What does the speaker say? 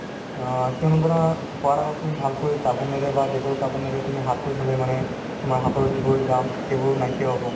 অ, কিয়নো ধৰা খোৱা আগত তুমি ভালকৈ চাবোনেৰে বা dettol চাবোনেৰে তুমি হাততো ধুলে মানে তোমাৰ হাতৰ যিবোৰ germs সেইবোৰ নাইকিয়া হ'ব